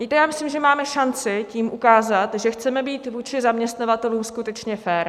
Víte, já myslím, že máme šanci tím ukázat, že chceme být vůči zaměstnavatelům skutečně fér.